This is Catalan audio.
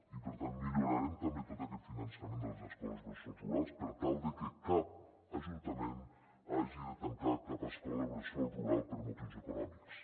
i per tant millorarem també tot aquest finançament de les escoles bressol rurals per tal de que cap ajuntament hagi de tancar cap escola bressol rural per motius econòmics